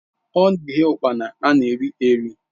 Ọ na-eghe ụkpana ana eri eri